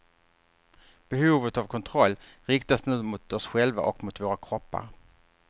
Behovet av kontroll riktas nu mot oss själva och mot våra kroppar.